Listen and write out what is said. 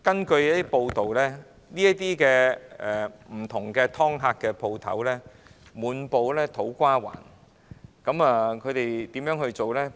據報道，不同的"劏客"商店滿布土瓜灣，其經營手法是怎樣的？